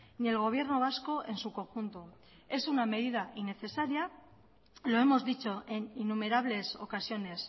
ni el gobierno vasco en su conjunto es una medida innecesaria lo hemos dicho en innumerables ocasiones